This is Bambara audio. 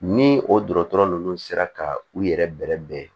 Ni o dɔgɔtɔrɔ ninnu sera ka u yɛrɛ bɛrɛ bɛn